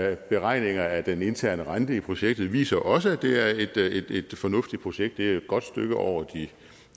er beregninger af den interne rente i projektet viser også at det er et fornuftigt projekt det er jo godt stykke over